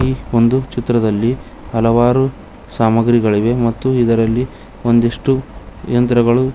ಒಂದು ಚಿತ್ರದಲ್ಲಿ ಹಲವಾರು ಸಾಮಗ್ರಿಗಳಿವೆ ಮತ್ತು ಇದರಲ್ಲಿ ಒಂದಿಷ್ಟು ಯಂತ್ರಗಳು.